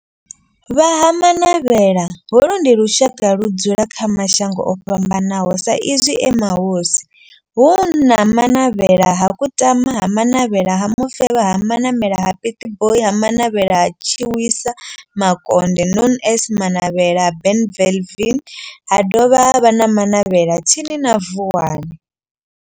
Vha Ha-Manavhela, holu ndi lushaka ludzula kha mashango ofhambanaho sa izwi e mahosi hu na Manavhela ha Kutama, ha Manavhela ha Mufeba, ha Manavhela ha Pietboi na Manavhela ha Tshiwisa Makonde known as Manavhela Benlavin ha dovha havha na Manavhela tsini na Vuwani.